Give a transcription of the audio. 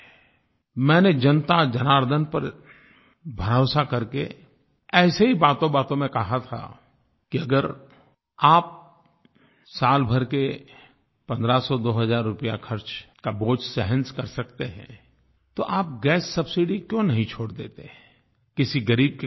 मैंने जनताजनार्दन पर भरोसा करके ऐसे ही बातोंबातों में कहा था कि अगर आप साल भर के पंद्रह सौ दो हज़ार रुपया खर्च का बोझ सहन कर सकते हैं तो आप गैस सबसिडी क्यों नहीं छोड़ देते किसी ग़रीब के काम आएगी